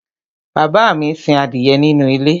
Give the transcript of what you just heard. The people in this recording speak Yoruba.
bàbá mi sin adìyẹ nínú ilé